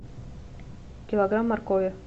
килограмм моркови